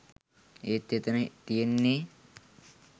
ඒත් එතන තියෙන්නේ